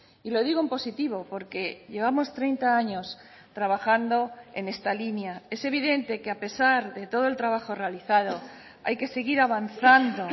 y lo digo en positivo porque llevamos treinta años trabajando en esta línea es evidente que a pesar de todo el trabajo realizado hay que seguir avanzando